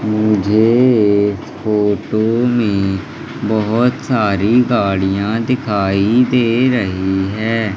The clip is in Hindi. मुझे इस फोटो में बहोत सारी गाड़ियाँ दिखाई दे रही है।